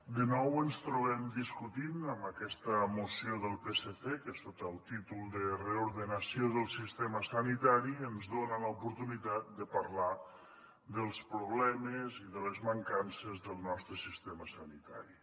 de nou ens trobem discutint amb aquesta moció del psc que sota el títol de reordenació del sistema sanitari ens dona l’oportunitat de parlar dels problemes i de les mancances del nostre sistema sanitari